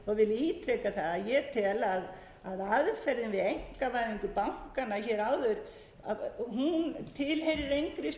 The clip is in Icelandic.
að ég tel að aðferðin við einkavæðingu bankanna hér áður hún tilheyrir engir